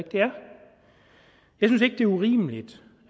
er urimeligt